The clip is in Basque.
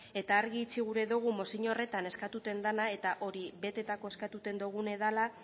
eta argi itxi gura dugun mozio horretan eskatuten dena eta hori betetako eskatuten dogune dala